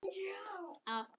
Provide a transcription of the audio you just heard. Elsku amma mín Em.